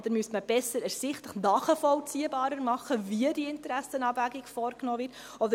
Oder müsste man besser ersichtlich nachvollziehbarer machen, wie die Interessenabwägung vorgenommen wird?